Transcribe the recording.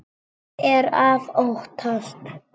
En hvað er að óttast?